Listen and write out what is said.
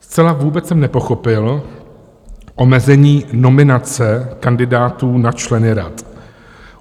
Zcela vůbec jsem nepochopil omezení nominace kandidátů na členy rad.